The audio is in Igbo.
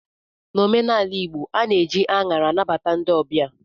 N'omenala igbo, a na-eji anyara anabata ndị ọbịa